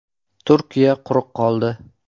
Turkiya quruq qoldi.